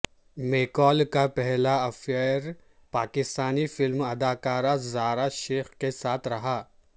میکال کا پہلا افئیر پاکستانی فلم اداکارہ زارا شیخ کے ساتھ رہا